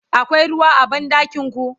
akwai ruwa a banɗakinku?